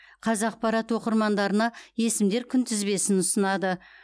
қазақпарат оқырмандарына есімдер күнтізбесін ұсынады